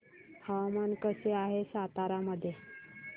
हवामान कसे आहे सातारा मध्ये